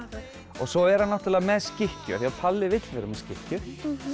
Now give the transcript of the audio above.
svo er hann með skikkju því Palli vill vera með skikkju